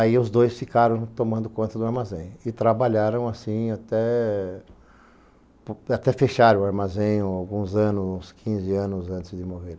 Aí os dois ficaram tomando conta do armazém e trabalharam assim até até fechar o armazém alguns anos, uns quinze anos antes de morrer.